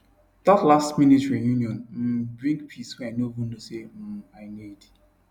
that lastminute reunion um bring peace wey i no even know say um i need